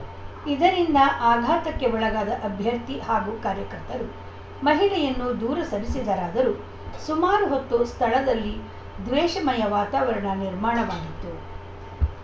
ಇದರಿಂದ ಆಘಾತಕ್ಕೆ ಒಳಗಾದ ಅಭ್ಯರ್ಥಿ ಹಾಗೂ ಕಾರ್ಯಕರ್ತರು ಮಹಿಳೆಯನ್ನು ದೂರ ಸರಿಸಿದರಾದರೂ ಸುಮಾರು ಹೊತ್ತು ಸ್ಥಳದಲ್ಲಿ ದ್ವೇಷಮಯ ವಾತಾವರಣ ನಿರ್ಮಾಣವಾಗಿತ್ತು